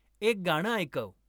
एक गाणं ऐकव